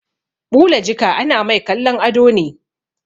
Ɓula jika ana mai kallon ado ne